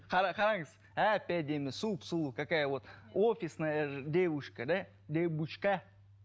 қара қараңыз әп әдемі сұп сұлу какая вот офисная девушка да девушка